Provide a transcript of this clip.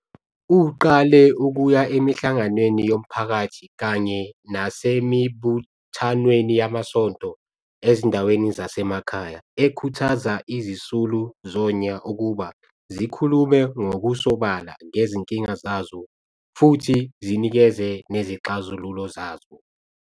Uqale ukuya emihlanganweni yomphakathi kanye nasemibuthanweni yamasonto ezindaweni zasemakhaya ekhuthaza izisulu zonya ukuba zikhulume ngokusobala ngezinkinga zazo futhi zinikeze nezixazululo zazo.